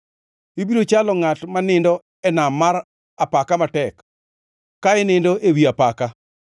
Ibiro chalo ngʼat ma nindo e nam mar apaka matek, ka inindo ewi apaka.